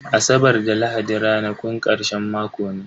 Asabar da lahadi ranakun karshen mako ne.